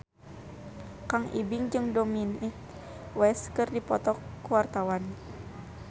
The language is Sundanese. Kang Ibing jeung Dominic West keur dipoto ku wartawan